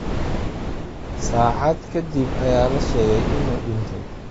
Saacad ka dib ayaa la sheegay inuu dhintay.